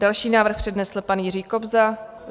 Další návrh přednesl pan Jiří Kobza.